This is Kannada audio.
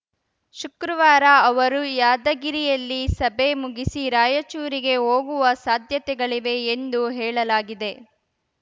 ಶುಕ್ರವಾರ ಅವರು ಯಾದಗಿರಿಯಲ್ಲಿ ಸಭೆ ಮುಗಿಸಿ ರಾಯಚೂರಿಗೆ ಹೋಗುವ ಸಾಧ್ಯತೆಗಳಿವೆ ಎಂದು ಹೇಳಲಾಗಿದೆ